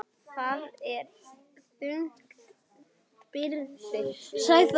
Það er þung byrði.